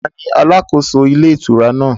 Tani alàkóso ilé ìtura náà?